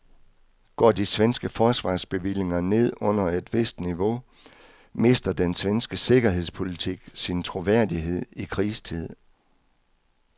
Går de svenske forsvarsbevillinger ned under et vist niveau, mister den svenske sikkerhedspolitik sin troværdighed i krigstid.